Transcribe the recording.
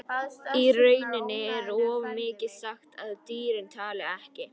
Í rauninni er of mikið sagt að dýrin tali ekki.